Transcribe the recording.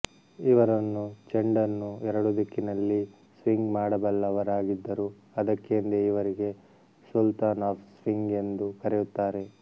ಇವರನ್ನು ಚೆಂಡನ್ನು ಎರಡೂ ದಿಕ್ಕಿನಲ್ಲಿ ಸ್ವಿಂಗ್ ಮಾಡಬಲ್ಲವರಾಗಿದ್ದರು ಅದಕ್ಕೆಂದೇ ಇವರಿಗೆ ಸುಲ್ತಾನ್ ಆಫ್ ಸ್ವಿಂಗ್ ಎಂದು ಕರೆಯುತ್ತಾರೆ